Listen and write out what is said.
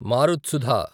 మారుత్సుధ